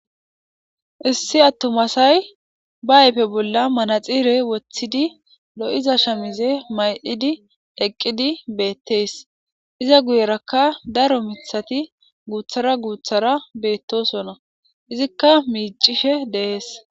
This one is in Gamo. Issi attuma asay be ayfe bolla manaxire woththidi lo'iza shaamize mayidi eqqudi beetees. Iza guyeraka daro miththati guuthara guuthara beetosona. Izika miicishe de'ees.